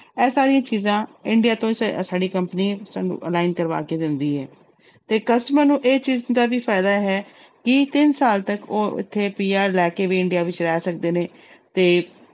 ਇਹ ਸਾਰੀਆਂ ਚੀਜ਼ਾਂ India ਤੋਂ ਹੀ ਸ~ ਸਾਡੀ company ਸਾਨੂੰ ਕਰਵਾ ਕੇ ਦਿੰਦੀ ਹੈ ਤੇ customer ਨੂੰ ਇਹ ਚੀਜ਼ ਦਾ ਕੀ ਫ਼ਾਇਦਾ ਹੈ ਕਿ ਤਿੰਨ ਸਾਲ ਤੱਕ ਉਹ ਇੱਥੇ PR ਲੈ ਕੇ ਵੀ India ਵਿੱਚ ਰਹਿ ਸਕਦੇ ਨੇ ਤੇ